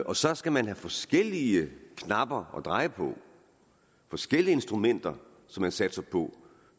og så skal man have forskellige knapper at dreje på forskellige instrumenter som man satser på